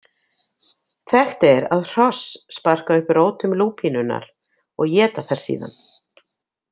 Þekkt er að hross sparka upp rótum lúpínunnar og éta þær síðan.